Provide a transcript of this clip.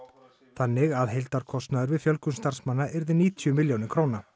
þannig að heildarkostnaður við fjölgun starfsmanna yrði níutíu milljónir króna